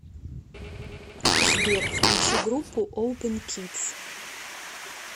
сбер включи группу опен кидс